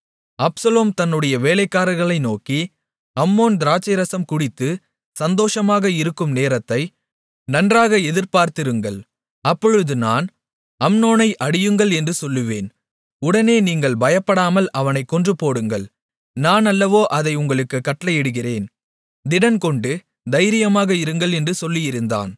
Absalom தன்னுடைய வேலைக்காரர்களை நோக்கி அம்னோன் திராட்சைரசம் குடித்து சந்தோஷமாக இருக்கும் நேரத்தை நன்றாக எதிர்பார்த்திருங்கள் அப்பொழுது நான் அம்னோனை அடியுங்கள் என்று சொல்லுவேன் உடனே நீங்கள் பயப்படாமல் அவனைக் கொன்றுபோடுங்கள் நான் அல்லவோ அதை உங்களுக்குக் கட்டளையிடுகிறேன் திடன்கொண்டு தைரியமாக இருங்கள் என்று சொல்லியிருந்தான்